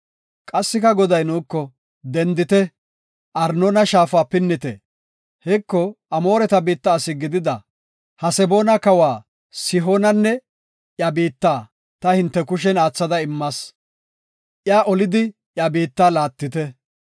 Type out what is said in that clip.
Qassika Goday nuuko, “Dendite; Arnoona Shaafa pinnite. Heko, Amoore biitta asi gidida Haseboona kawa Sihoonanne iya biitta ta hinte kushen aathada immas; iya olidi iya biitta laattite.